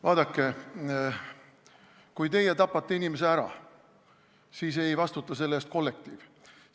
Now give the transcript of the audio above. Vaadake, kui teie tapate inimese ära, siis ei vastuta selle eest kollektiiv.